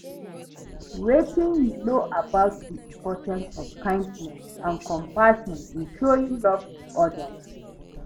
Wetin you know about di importance of kindness and compassion in showing love to odas?